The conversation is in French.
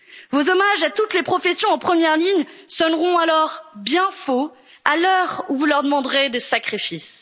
plein fouet. Vos hommages à toutes les professions en première ligne sonneront alors bien faux à l'heure où vous leur demanderez des